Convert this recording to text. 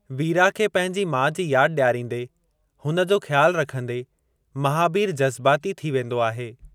वीरा खे पंहिंजी माउ जी यादि ॾियारींदे हुन जो ख़्यालु रखंदे महाबीर जज़्बाती थी वेंदो आहे।